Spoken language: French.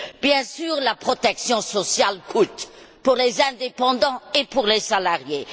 Bien sûr, la protection sociale coûte, pour les indépendants comme pour les salariés.